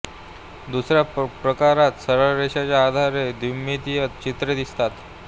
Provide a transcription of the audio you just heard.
दुसऱ्या प्रकारात सरळ रेषेच्या आधारे द्विमितीय चित्रे दिसतात